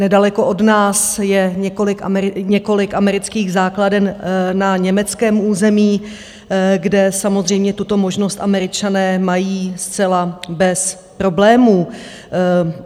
Nedaleko od nás je několik amerických základen na německém území, kde samozřejmě tuto možnost Američané mají zcela bez problémů.